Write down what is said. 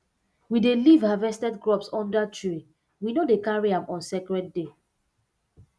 we dey leave harvested crops under tree we no dey carry am on sacred day